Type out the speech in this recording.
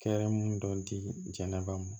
Kɛrɛmu dɔ dila ba ma